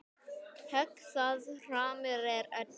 Högg það harmur er öllum.